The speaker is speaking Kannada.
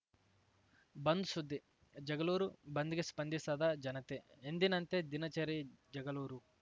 ಬಂದ್‌ ಸುದ್ದಿ ಜಗಳೂರು ಬಂದ್‌ಗೆ ಸ್ಪಂದಿಸದ ಜನತೆ ಎಂದಿನಂತೆ ದಿನಚರಿ ಜಗಳೂರು